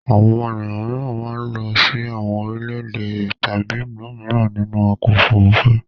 Àwọn ènìyàn mìíràn máa ń lọ sí àwọn orílẹ̀-èdè tàbí ìlú mìíràn nínú ọkọ̀-òfurufú.